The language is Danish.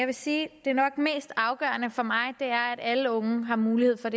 vil sige at det nok mest afgørende for mig er at alle unge har mulighed for